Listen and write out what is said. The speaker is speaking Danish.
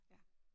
Ja